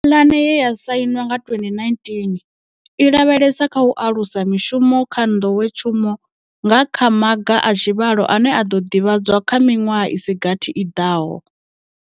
Pulane ye ya sainwa nga 2019, i lavhelesa kha u alusa mishumo kha nḓowetshumo nga kha maga a tshivhalo ane a ḓo ḓivhadzwa kha miṅwaha i si gathi i ḓaho.